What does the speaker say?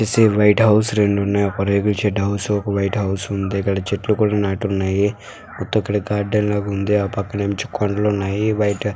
బయట హౌస్ లు రెండు ఉన్నాయి. ఒక రేకుల షేడ్ హౌస్ ఒక వైట్ హౌస్ ఉంది. ఇక్కడ చెట్లు కూడా నాటి ఉన్నాయి. మొత్తం ఇక్కడ గార్డెన్ లాగా ఉంది. ఆ పక్కన నుంచి కొండలు ఉన్నాయి.